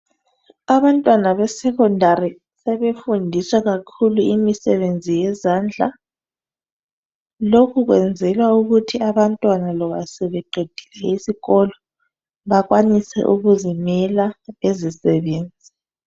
Abantwana besekhondari sebefundiswa kakhulu imisebenzi yezandla. Lokhu kwenzelwa ukuthi abantwana loba sebeqedile isikolo bakwanise ukuzimela bezisebenze.